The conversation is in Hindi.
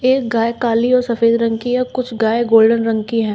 एक गाय काली और सफेद रंग की है कुछ गाय गोल्डन रंग की हैं।